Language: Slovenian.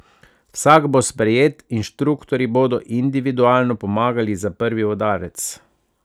Vsak bo sprejet, inštruktorji bodo individualno pomagali za prvi udarec.